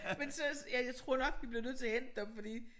Men så ja jeg tror nok vi bliver nødt til at hente dem fordi